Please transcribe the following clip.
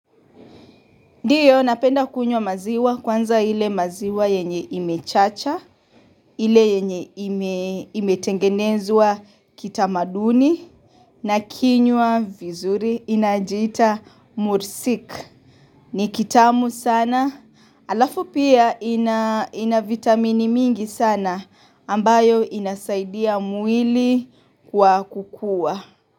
Ndiyo napenda kunywa maziwa kwanza ile maziwa yenye imechacha, ile yenye imetengenezwa kita maduni na kinywa vizuri inajita mursik. Ni kitamu sana, alafu pia ina vitamini mingi sana ambayo inasaidia mwili kwa kukua.